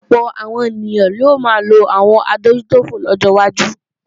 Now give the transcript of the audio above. Ọ̀pọ̀ àwọn èèyàn ni ó máa lo àwọn adójútòfò lọ́jọ́ wájú